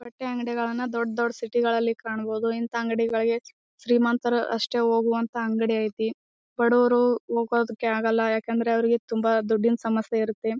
ಬಟ್ಟೆ ಅಂಗಡಿಗಳನ್ನು ದೊಡ್ಡ್ ದೊಡ್ಡ್ ಸಿಟಿ ಗಳಲ್ಲಿ ಕಾಣಬಹುದು. ಇಂತ ಅಂಗಡಿ ಗಳಿಗೆ ಶ್ರೀಮಂತರು ಅಷ್ಟೇ ಹೋಗುವಂತ ಅಂಗಡಿ ಐತಿ. ಬಡವರು ಹೋಗೋದಕ್ಕೆ ಆಗೋಲ್ಲ ಯಾಕಂದ್ರೆ ಅವ್ರಿಗೆ ತುಂಬ ದುಡ್ಡಿನ ಸಮಸ್ಯೆ ಇರುತ್ತೆ.